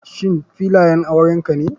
Shin filayan aurenka ne.